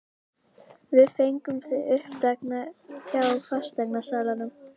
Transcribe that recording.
Við fengum þig uppgefna hjá fasteignasalanum.